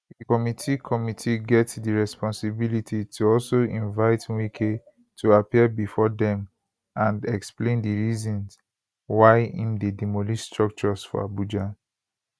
di committee committee get di responsibility to also invite wike to appear bifor dem and explain di reasons why im dey demolish structures for abuja